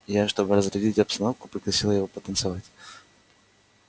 я чтобы разрядить обстановку пригласила его потанцевать